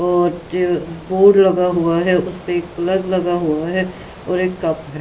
अ board लगा हुआ है उसपे एक प्लग लगा हुआ है और एक कप है।